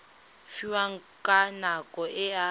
fiwang ka nako e a